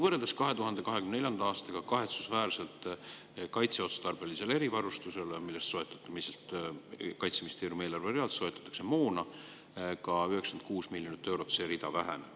Võrreldes 2024. aastaga Kaitseministeeriumi eelarves kaitseotstarbelise erivarustuse rida, mille alusel soetatakse moona, kahetsusväärselt väheneb 96 miljonit eurot.